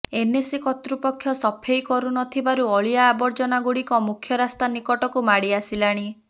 NAC କର୍ତ୍ତୃପକ୍ଷ ସଫେଇ କରୁନଥିବାରୁ ଅଳିଆ ଆବର୍ଜନା ଗୁଡ଼ିକ ମୁଖ୍ୟ ରାସ୍ତା ନିକଟକୁ ମାଡ଼ି ଆସିଲାଣି